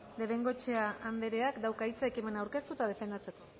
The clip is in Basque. de bengoechea andreak dauka hitza ekimena aurkeztu eta defendatzeko